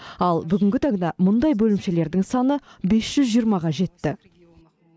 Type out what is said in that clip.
ал бүгінгі таңда мұндай бөлімшелердің саны бес жүз жиырмаға жетті